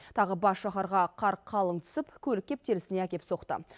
тағы бас шаһарға қар қалың түсіп көлік кептелісіне әкеп соқты